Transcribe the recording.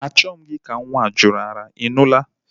Achoghi m ka nwa jụ ara, I nụla!